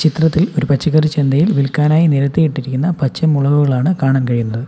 ചിത്രത്തിൽ ഒരു പച്ചക്കറി ചന്തയിൽ വിൽക്കാനായി നിരത്തിയിട്ടിരിക്കുന്ന പച്ചമുളകുകളാണ് കാണാൻ കഴിയുന്നത്.